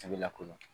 A bɛ lakodɔn